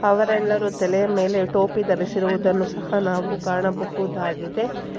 ಅವರೆಲ್ಲರೂ ತಲೆಯ ಮೇಲೆ ಟೋಪಿ ಧರಿಸಿರುವುದನ್ನು ಸಹ ನಾವು ಕಾಣಬಹುದಾಗಿದೆ.